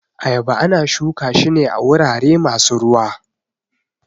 Ayaba ana shuka shi ne a wurare masu ruwa